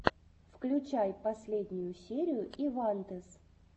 включай последнюю серию ивантез